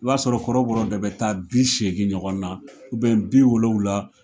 I b'a sɔrɔ kɔrɔbɔrɔ de bɛ taa bi seegin ɲɔgɔn na bi wolonwula